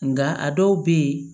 Nka a dɔw bɛ yen